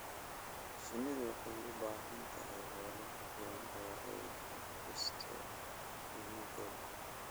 Shinnidu waxay u baahan tahay meelo ku filan oo ay ka dhisto finankeeda.